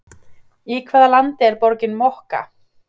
Í hvaða landi er borgin Mocha?